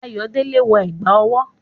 Ayodele wọ ẹ̀gbà ọwọ́.